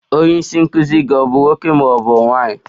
Onye isi nkụzi gị bụ nwoke ma ọ bụ nwanyị?